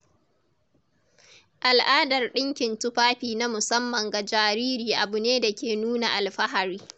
Al’adar dinkin tufafi na musamman ga jariri abu ne da ke nuna alfahari.